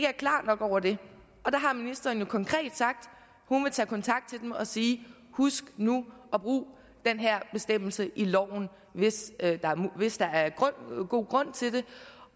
er klar over det og der har ministeren jo konkret sagt at hun vil tage kontakt til dem og sige husk nu at bruge den her bestemmelse i loven hvis hvis der er god grund til det